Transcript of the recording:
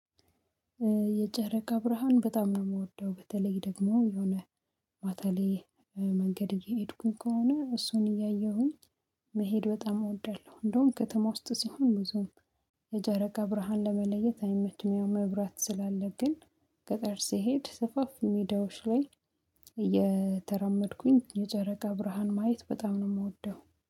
የጨረቃ ብርሃን በጣም ነው የምወደው በተለይ ደግሞ የሆነ ማታ ላይ መንገድ እየሄድኩኝ ከሆነ እሱን እያየሁኝ መሄድ በጣም እወዳለሁ። እንደውም ከተማ ውስጥ ስሆን ብዙም የጨረቃ ብርሃን ለመለየት አይመችም መብራት ስላለብን። ገጠር ስሄድ ስፋፊ ሜዳዎች ላይ እየተራመድኩኝ የጨረቃ ብርሃን ማየት በጣም ነው የምወደው